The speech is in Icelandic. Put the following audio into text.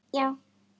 Þú ert að ljúga!